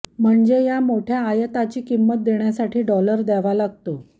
म्हणजे या मोठया आयातीची किंमत देण्यासाठी डॉलर द्यावा लागतो